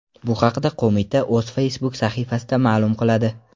Bu haqda qo‘mita o‘z Facebook sahifasida ma’lum qiladi .